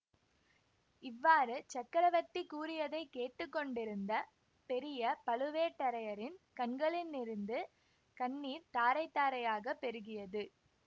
இவ்வாறு சக்கரவர்த்தி கூறியதை கேட்டு கொண்டிருந்த பெரிய பழுவேட்டரையரின் கண்களினிருந்து கண்ணீர் தாரைதாரையாகப் பெருகியது